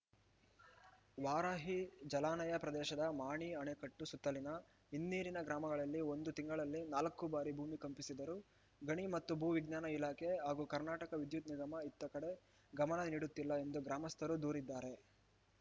ವಾರಾಹಿ ಜಲಾನಯ ಪ್ರದೇಶದ ಮಾಣಿ ಅಣೆಕಟ್ಟು ಸುತ್ತಲಿನ ಹಿನ್ನೀರಿನ ಗ್ರಾಮಗಳಲ್ಲಿ ಒಂದು ತಿಂಗಳಲ್ಲಿ ನಾಲ್ಕು ಬಾರಿ ಭೂಮಿ ಕಂಪಿಸಿದರೂ ಗಣಿ ಮತ್ತು ಭೂ ವಿಜ್ಞಾನ ಇಲಾಖೆ ಹಾಗೂ ಕರ್ನಾಟಕ ವಿದ್ಯುತ್‌ ನಿಗಮ ಇತ್ತ ಕಡೆ ಗಮನ ನೀಡುತ್ತಿಲ್ಲ ಎಂದು ಗ್ರಾಮಸ್ಥರು ದೂರಿದ್ದಾರೆ